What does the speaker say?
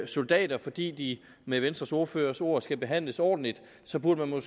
soldater fordi de med venstres ordførers ord skal behandles ordentligt så burde man